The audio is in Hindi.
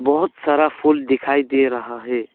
बहोत सारा फूल दिखाई दे रहा है।